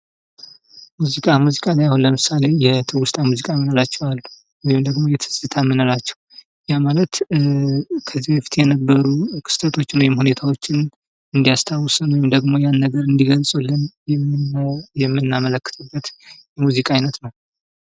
ሙዚቃ:-ሙዚቃ እኔ አሁን ለምሳሌ የትውስታ ሙዚቃ የምንላቸው አሉ። ወይንም ደግሞ የትዝታ የምንላቸው ያ ማለት ከዚህ በፊት የነበሩ ክስተቶችን ወይንም ሁኔታዎችን እንዲያስታውሰን ወይንም ደግሞ ያን ነገር አንዲገልፅልን የምናመለክትበት የሙዚቃ አይነት ነው።